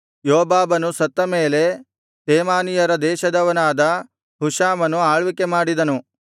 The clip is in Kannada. ಯೋಬಾಬನು ಸತ್ತ ಮೇಲೆ ತೇಮಾನೀಯರ ದೇಶದವನಾದ ಹುಷಾಮನು ಆಳ್ವಿಕೆ ಮಾಡಿದನು